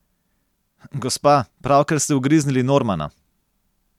Gospa, pravkar ste ugriznili Normana.